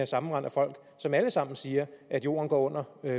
sammenrend af folk som alle sammen siger at jorden går under